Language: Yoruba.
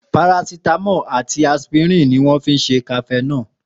Paracitamo àti aspirin ni wọn fi ṣe cafenol